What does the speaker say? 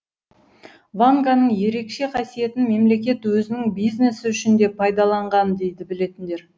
ванганың ерекше қасиетін мемлекет өзінің бизнесі үшін де пайдаланған дейді білетіндер